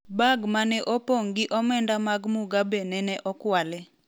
Bag mane opong' gi omenda mag Mugabe nene okwali